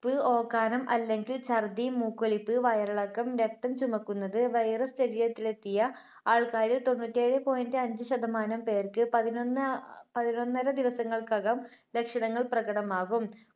പ്പ് ഓക്കാനം അല്ലെങ്കിൽ ഛർദ്ദി, മൂക്കൊലിപ്പ്, വയറിളക്കം, രക്തം ചുമയ്ക്കുന്നത്, virus ശരീരത്തിലെത്തിയ ആൾക്കാരിൽ തൊണ്ണൂറ്റേഴേ point അഞ്ച് ശതമാനം പേർക്ക് പതിനൊന്ന്, പതിനൊന്നര ദിവസങ്ങൾക്കകം ലക്ഷണങ്ങൾ പ്രകടമാകും.